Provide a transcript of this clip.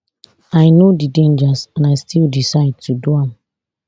i know di dangers and i still decide to do am